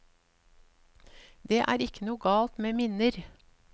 Det er ikke noe galt med minner.